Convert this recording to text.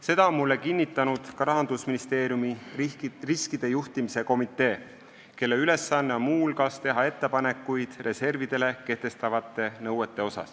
Seda on mulle kinnitanud ka Rahandusministeeriumi riskide juhtimise komitee, kelle ülesanne on muu hulgas teha ettepanekuid reservidele kehtestatavate nõuete kohta.